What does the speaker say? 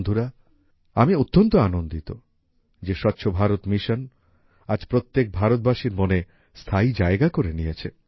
বন্ধুরা আমি অত্যন্ত আনন্দিত যে স্বচ্ছভারত মিশন আজ প্রত্যেক ভারতবাসীর মনে স্থায়ী জায়গা করে নিয়েছে